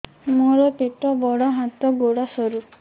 ମୋର ପେଟ ବଡ ହାତ ଗୋଡ ସରୁ